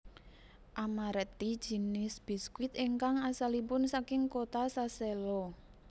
Amaretti jinis biskuit ingkang asalipun saking kota Sassello